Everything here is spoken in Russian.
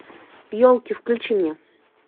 елки включи мне